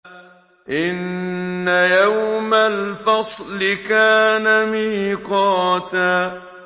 إِنَّ يَوْمَ الْفَصْلِ كَانَ مِيقَاتًا